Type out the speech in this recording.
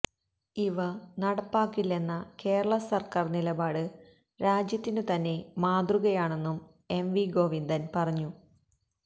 ഇവ നടപ്പാക്കില്ലെന്ന കേരള സര്ക്കാര് നിലപാട് രാജ്യത്തിനുതന്നെ മാതൃകയാണെന്നും എംവി ഗോവിന്ദന് പറഞ്ഞു